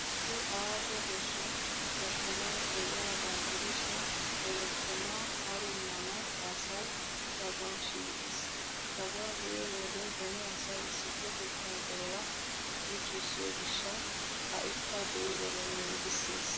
Issi aaho goshshan lokkomay de'iyaagaa gidishin, he lokkomaa harummanawu asay daguwan shiiqiis. Daguwaa be'iyo wode beni asay issippetettaa de'uwaa qonccissiyoo gishshawu ha'ikka de'i erenne!! giissees.